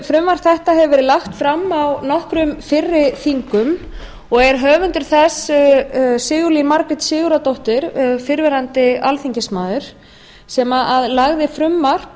frumvarp þetta hefur verið lagt fram á nokkrum fyrri þingum og er höfundur þess sigurlín margrét sigurðardóttir fyrrverandi alþingismaður sem lagði frumvarp